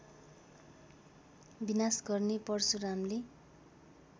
विनाश गर्ने परशुरामले